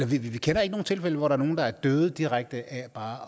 vi kender ikke nogen tilfælde hvor der er nogle der er døde direkte af bare